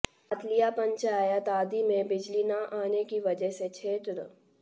पातलियां पंचायत आदि मंे बिजली न आने की वजह से क्षेत्र